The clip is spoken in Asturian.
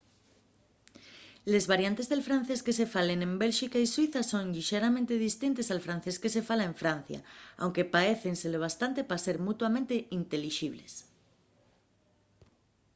les variantes del francés que se falen en bélxica y suiza son llixeramente distintes al francés que se fala en francia aunque paécense lo bastante pa ser mutuamente intelixibles